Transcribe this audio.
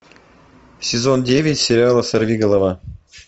сезон девять сериала сорви голова